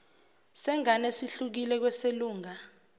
sengane sihlukile kweselunga